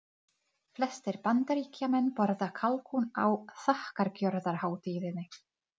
Stebbi hlóð niður nýju appi.